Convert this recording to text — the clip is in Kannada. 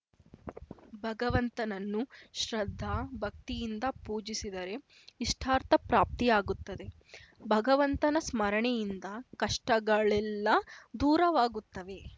ಭಗವಂತನನ್ನು ಶ್ರದ್ಧಾ ಭಕ್ತಿಯಿಂದ ಪೂಜಿಸಿದರೆ ಇಷ್ಟಾರ್ಥ ಪ್ರಾಪ್ತಿಯಾಗುತ್ತದೆ ಭಗವಂತನ ಸ್ಮರಣೆಯಿಂದ ಕಷ್ಟಗಳೆಲ್ಲಾ ದೂರವಾಗುತ್ತವೆ